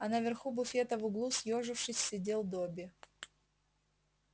а на верху буфета в углу съёжившись сидел добби